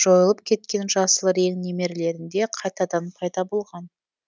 жойылып кеткен жасыл рең немерелерінде қайтадан пайда болған